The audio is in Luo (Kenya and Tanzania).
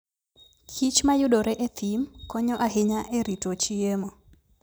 kich ma yudore e thim konyo ahinya e rito chiemo.